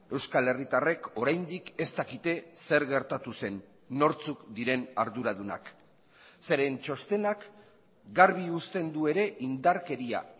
euskal herritarrek oraindik ez dakite zer gertatu zen nortzuk diren arduradunak zeren txostenak garbi uzten du ere indarkeria